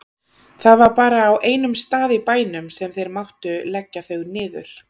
Það var bara á einum stað í bænum sem þeir máttu leggja þau niður.